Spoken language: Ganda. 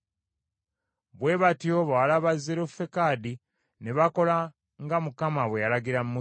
Bwe batyo bawala ba Zerofekadi ne bakola nga Mukama bwe yalagira Musa.